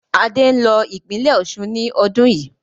Adé ń lọ ìpínlẹ́ Osun ni ọdún yii